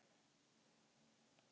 Öll, endurtekur hún með áherslu.